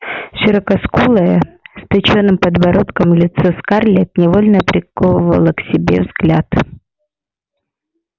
широкоскулое с точёным подбородком лицо скарлетт невольно приковывало к себе взгляд